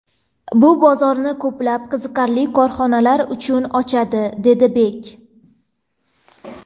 Bu bozorni ko‘plab qiziqarli korxonalar uchun ochadi”, dedi Bek.